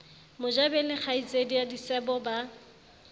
mojabeng le kgaitsedie disebo ba